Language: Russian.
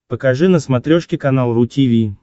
покажи на смотрешке канал ру ти ви